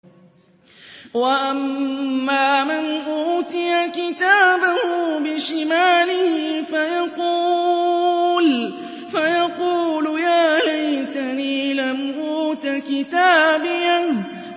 وَأَمَّا مَنْ أُوتِيَ كِتَابَهُ بِشِمَالِهِ فَيَقُولُ يَا لَيْتَنِي لَمْ أُوتَ كِتَابِيَهْ